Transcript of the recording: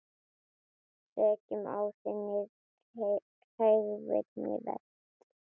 Sekum á þingi hegning veitt.